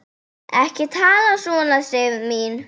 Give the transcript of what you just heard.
Ekki tala svona, Sif mín!